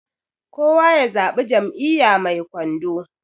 kowa ya zaɓi Jam'iyya mai kwando